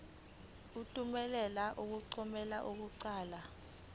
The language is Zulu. thumela amaphepha okuqala